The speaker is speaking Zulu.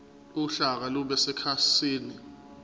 uhlaka lube sekhasini